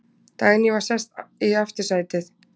Dagný var sest í aftursætið.